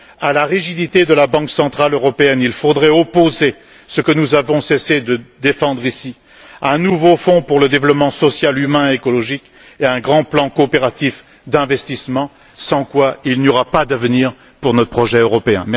À la rigidité de la Banque centrale européenne il faudrait opposer ce que nous avons cessé de défendre ici un nouveau fonds pour le développement social, humain et écologique et un grand plan coopératif d'investissements, sans quoi il n'y aura pas d'avenir pour notre projet européen.